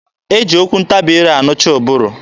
E ji okwu ntabi ire anụcha ụbụrụ.